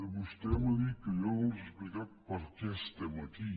vostè m’ha dit que jo no els he explicat perquè estem aquí